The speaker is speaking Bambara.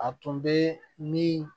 A tun bɛ min